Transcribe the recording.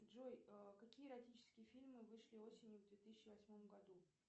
джой какие эротические фильмы вышли осенью в две тысячи восьмом году